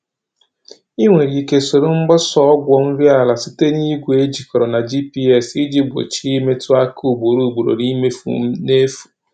Ị nwere ike soro mgbasa ọgwụ nri ala site n'igwe ejikọrọ na GPS iji gbochie imetụ aka ugboro ugboro na imefu n’efu.